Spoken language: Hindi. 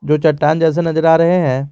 जो चट्टान जैसे नजर आ रहे हैं।